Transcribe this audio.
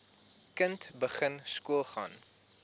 kind begin skoolgaan